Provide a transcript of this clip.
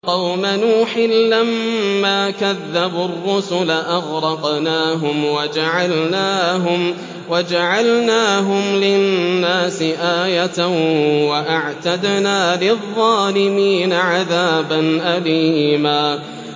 وَقَوْمَ نُوحٍ لَّمَّا كَذَّبُوا الرُّسُلَ أَغْرَقْنَاهُمْ وَجَعَلْنَاهُمْ لِلنَّاسِ آيَةً ۖ وَأَعْتَدْنَا لِلظَّالِمِينَ عَذَابًا أَلِيمًا